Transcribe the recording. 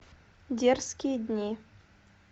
дерзкие дни